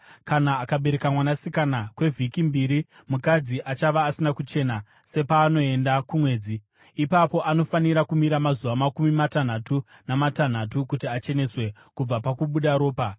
Kana akabereka mwanasikana, kwevhiki mbiri mukadzi achava asina kuchena sepaanoenda kumwedzi. Ipapo anofanira kumira mazuva makumi matanhatu namatanhatu kuti acheneswe kubva pakubuda ropa.